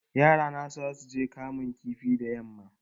Yarana zasuje kamun kifi da yamma